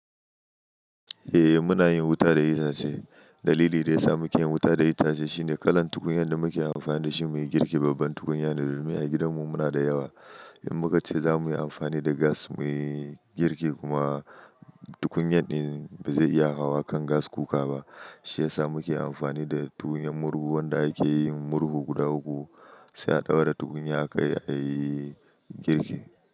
Eh muna yin wuta da itace. Dalili da ya sa muke yin wuta da itace shine kalar tukunyan da muke amfani da shi muyi girki babban tukunya ne domin a gidanmu muna da yawa. In muka ce za mu yi amfani da gas muyi girki kuma tukunyan din bazai iya hawa kan gas cooka ba. Shi ya sa muke amfani da tukunyan murhu wanda ake yin murhu guda uku. Sai a ɗaura tukunya a kai a yi girki.